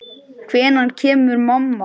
Hvenær kemur mamma?